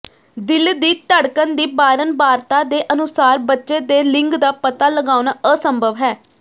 ਦਿਲ ਦੀ ਧੜਕਣ ਦੀ ਬਾਰੰਬਾਰਤਾ ਦੇ ਅਨੁਸਾਰ ਬੱਚੇ ਦੇ ਲਿੰਗ ਦਾ ਪਤਾ ਲਗਾਉਣਾ ਅਸੰਭਵ ਹੈ